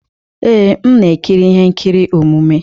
Ee, m na-ekiri ihe nkiri omume.